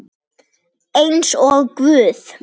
Eins og guð?